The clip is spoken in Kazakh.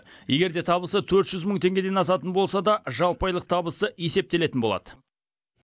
егерде табысы төрт жүз мың теңгеден асатын болса да жалпы айлық табысы есептелетін болады